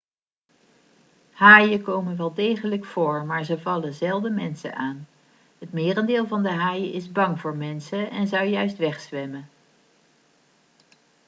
haaien komen wel degelijk voor maar ze vallen zelden mensen aan het merendeel van de haaien is bang voor mensen en zou juist wegzwemmen